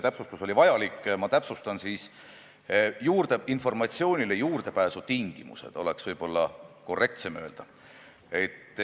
Täpsustus oli vajalik, ma räägin selle siis veel üle informatsioonile juurdepääsu tingimused, nii oleks võib-olla korrektsem öelda.